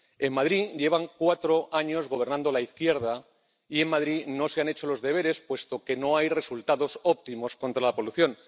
En Madrid lleva cuatro años gobernando la izquierda y en Madrid no se han hecho los deberes, puesto que no hay resultados óptimos contra la polución.